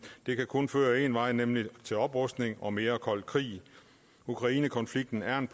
det kan kun føre en vej nemlig til oprustning og mere kold krig ukrainekonflikten er en